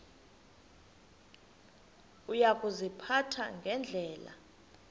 uya kuziphatha ngendlela